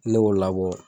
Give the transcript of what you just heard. Ne b'o labɔ